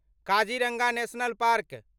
Kaziranga national park